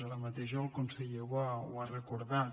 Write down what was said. ara mateix el conseller ho ha recordat